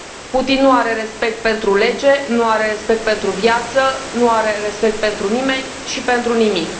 Putin nu are respect pentru lege, nu are respect pentru viață, nu are respect pentru nimeni și pentru nimic.